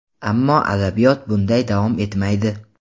Ammo adabiyot bunday davom etmaydi.